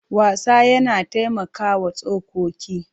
Wasa yana taimakawa tsokoki.